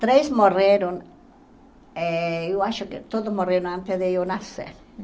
Três morreram, eh eu acho que todos morreram antes de eu nascer.